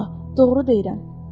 Vallahi doğru deyirəm.